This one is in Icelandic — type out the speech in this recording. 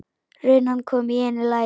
Runan kom í einu lagi.